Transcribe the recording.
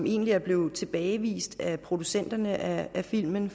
egentlig blevet tilbagevist af producenterne af filmen